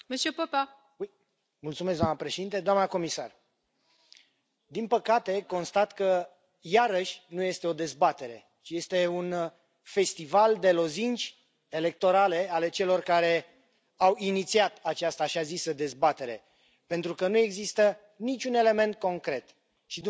Doamnă președintă, doamnă comisar, din păcate, constat că iarăși nu este o dezbatere, ci este un festival de lozinci electorale ale celor care au inițiat această așa zisă dezbatere, pentru că nu există niciun element concret și dumneavoastră ați spus la începutul